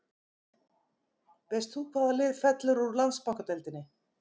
Veist þú hvaða lið fellur úr Landsbankadeildinni?